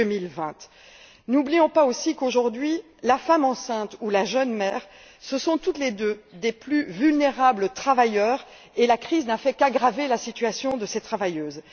2020. N'oublions pas aussi qu'aujourd'hui la femme enceinte ou la jeune mère sont toutes deux les plus vulnérables travailleurs et la crise n'a fait qu'aggraver la situation de ces travailleuses.